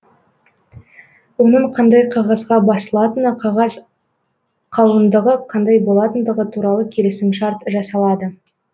оның қандай қағазға басылатыны қағаз қалыңдығы қандай болатындығы туралы келісім шарт жасалады